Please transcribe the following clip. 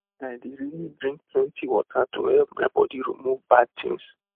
i dey really drink plenty water to help my body remove bad things